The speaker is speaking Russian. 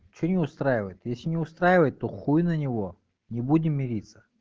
что не устраивает если не устраивает то хуй на него не будем мириться